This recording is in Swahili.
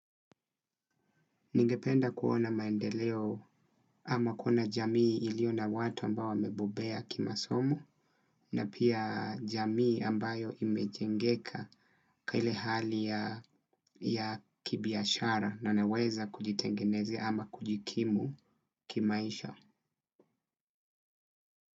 Ningependa kuona maendeleo ama kuona jamii iliyo na watu ambao wamebobea kimasomo na pia jamii ambayo imejengeka kile hali ya kibiashara na naweza kujitengenezea ama kujikimu kimaisha.